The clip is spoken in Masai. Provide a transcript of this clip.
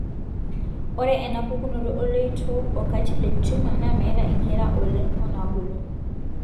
ore ena pukunoto oloito o kartilage tmor na metaa inkera oleng onabulu.